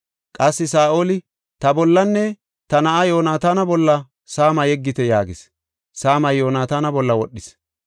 Qassi Saa7oli, “Ta bollanne ta na7aa Yoonataana bolla saama yeggite” yaagis. Saamay Yoonataana bolla wodhis.